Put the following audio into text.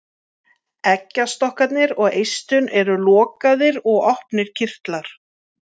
Eggjastokkarnir og eistun eru lokaðir og opnir kirtlar.